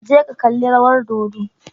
Je ka kalli rawar dodo.